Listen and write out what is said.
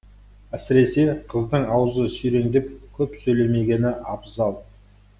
әсіресе қыздың аузы сүйреңдеп көп сөйлемегені абзал